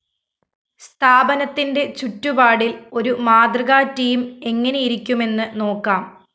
സ്ഥാപനത്തിന്റെ ചുറ്റുപാടില്‍ ഒരു മാതൃകാ ടീം എങ്ങനെയിരിക്കുമെന്ന് നോക്കാം